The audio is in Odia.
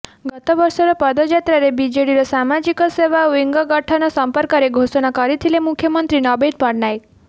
ଗତ ବର୍ଷର ପଦଯାତ୍ରାରେ ବିଜେଡ଼ିର ସାମାଜିକ ସେବା ଓ୍ବିଙ୍ଗ ଗଠନ ସଂପର୍କରେ ଘୋଷଣା କରିଥିଲେ ମୁଖ୍ୟମନ୍ତ୍ରୀ ନବୀନ ପଟ୍ଟନାୟକ